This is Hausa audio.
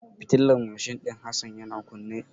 Fitilar mashin din Hassan yana kunne.